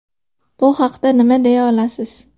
Bu haqida nima deya olasiz?